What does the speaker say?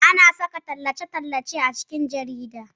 Ana saka tallace-tallace a jikin jarida